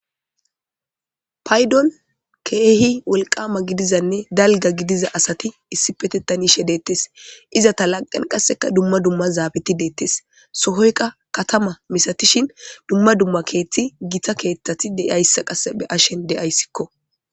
Paydon keehi wolqama gidizanne dalga gidiza asati issi petettanishe deettes iza ta laqen qasseka dumma dumma zaabeti deettes sohoyka katama misatishin dumma dumma keethti gita keeththati deayssa qasse be ashen deayssikko.